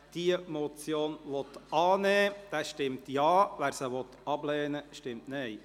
Wer diese Motion annimmt, stimmt Ja, wer diese ablehnt, stimmt Nein.